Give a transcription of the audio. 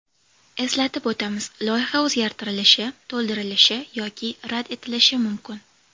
Eslatib o‘tamiz, loyiha o‘zgartirilishi, to‘ldirilishi yoki rad etilishi mumkin.